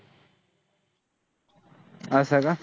असं का?